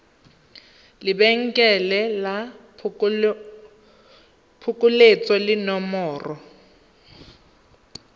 lebenkele la phokoletso le nomoro